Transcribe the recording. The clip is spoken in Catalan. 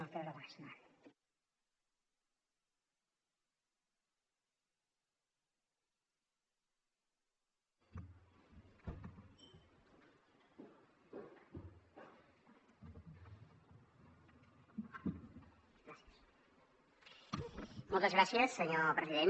moltes gràcies senyor president